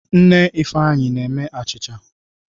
Nne Ifeanyi na-eme achicha.